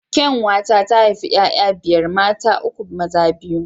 Kyanwa na ta haifi 'ya'ya biyar; mata uku, maza biyu.